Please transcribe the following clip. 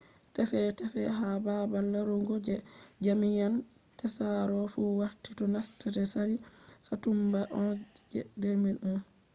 tefe tefe ha baabal larugo je jamian tsaro fu warti do nasta de sali satumba 11 je 2001